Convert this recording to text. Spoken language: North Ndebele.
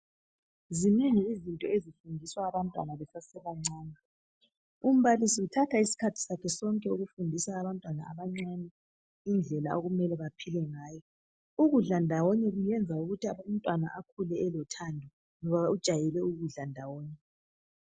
Zinengi izinto ezifundiswa abantwana besesebancane. Umbalisi uthatha isikhathi sakhe sonke ukufundisa abantwana abancane indlela okumele baphile ngayo. Ukudla ndawonye kwenza ukuthi umntwana akhule elothando ngoba ujayele ukudla ndawonye.